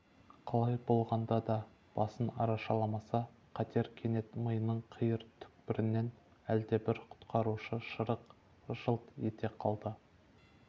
қалай болғанда да басын арашаламаса қатер кенет миының қиыр түкпірінен әлдебір құтқарушы шырақ жылт ете қалды